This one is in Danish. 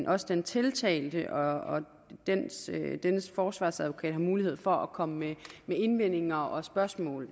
også den tiltalte og dennes forsvarsadvokat har mulighed for at komme med indvendinger og spørgsmål